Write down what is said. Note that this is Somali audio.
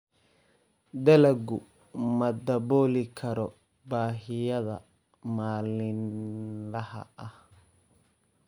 Dalaggu ma dabooli karo baahiyaha maalinlaha ah.